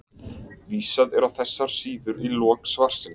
Vísað er á þessar síður í lok svarsins.